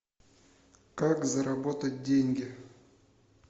как заработать деньги